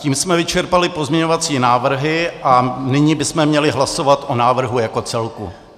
Tím jsme vyčerpali pozměňovací návrhy a nyní bychom měli hlasovat o návrhu jako celku.